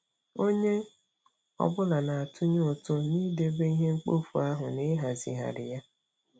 Onye ọ bụla na-atụnye ụtụ n'idebe ihe mkpofu ahụ na ịhazigharị ya.